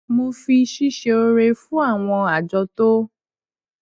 mo fi ṣíṣe ore fún àwọn àjọ tó